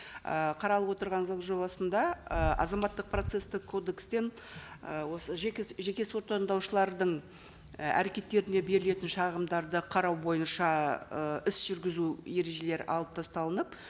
ы қаралып отырған заң жобасында ы азаматтық процесстік кодекстен ы осы жеке сот таңдаушылардың і әрекеттеріне берілетін шағымдарды қарау бойынша ы іс жүргізу ережелері алып тасталынып